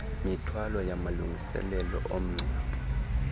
mithwalo yamalungiselelo omngcwabo